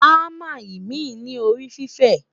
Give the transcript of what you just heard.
hamá imi ní orí fifẹ